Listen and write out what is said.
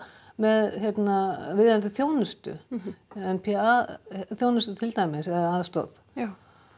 með viðeigandi þjónustu n p a þjónustu til dæmis eða aðstoð já